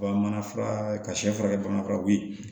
U ka mana fura ka sɛ furakɛ bamananw